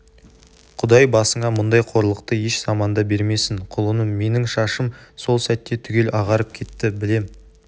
құдай басыңа мұндай қорлықты еш заманда бермесін құлыным менің шашым сол сәтте түгел ағарып кетті білем